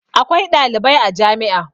Akwai ɗalibai a jami'a.